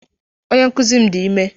Onye nkuzi m dị ime.